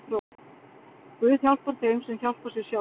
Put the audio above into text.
Guð hjálpar þeim sem hjálpa sér sjálfur.